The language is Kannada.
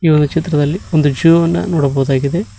ನ ಚಿತ್ರದಲ್ಲಿ ಒಂದು ಜೂ ಅನ್ನ ನೋಡಬಹುದಾಗಿದೆ.